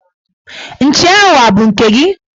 Nchi ahụ abụ nke gị?